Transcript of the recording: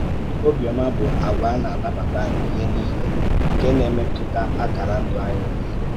Ọ̀bịọ́mà bụ àgwà na-anàbàtà ihe niile nke na-emètùtà àkàrà ndụ̀ anyị niile.